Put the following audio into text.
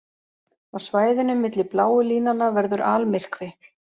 Á svæðinu milli bláu línanna verður almyrkvi.